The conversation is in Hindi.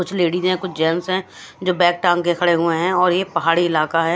कुछ लेडिज है कुछ जेंट्स है जो बैग टांग कर खड़े हुए है और ये पहाड़ी इलाका है।